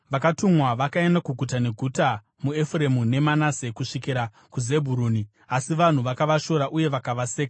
Vakatumwa vakaenda kuguta neguta muEfuremu neManase, kusvikira kuZebhuruni, asi vanhu vakavashora uye vakavaseka.